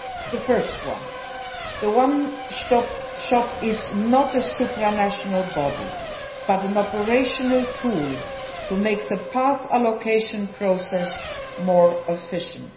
The first the one stop shop is not a supranational body but an operational tool to make the path allocation process more efficient.